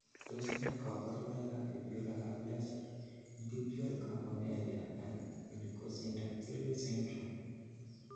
Tos nee koborunoikab Fibular aplasia, tibial campomelia, and oligosyndactyly syndrome?